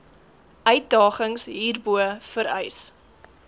uitdagings hierbo vereis